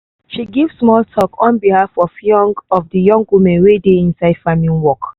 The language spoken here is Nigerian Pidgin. she give small talk on behalf of young of young women wey dey inside farming work